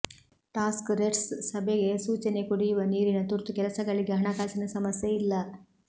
task ೆರ್ಸ್ ಸಭೆಗೆ ಸೂಚನೆಕುಡಿಯುವ ನೀರಿನ ತುರ್ತು ಕೆಲಸಗಳಿಗೆ ಹಣಕಾಸಿನ ಸಮಸ್ಯೆ ಇಲ್ಲ